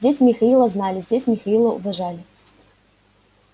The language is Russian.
здесь михаила знали здесь михаила уважали